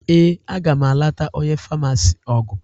Ee, aga m anata onye famasi ọgwụ